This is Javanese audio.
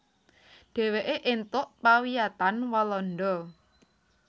Dheweke èntuk pawiyatan Walanda